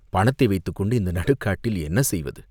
பணத்தை வைத்துக் கொண்டு இந்த நடுக் காட்டில் என்ன செய்வது?